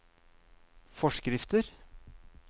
forskrifter